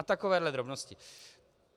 A takovéhle drobnosti.